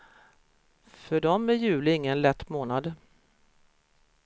För dem är juli ingen lätt månad.